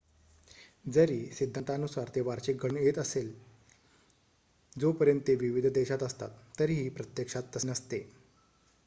जरी सिंद्धांतानुसारा ते वार्षिक घडून येत असले जोपर्यंत ते विविध देशात असतात तरीही प्रत्यक्षात तसे नसते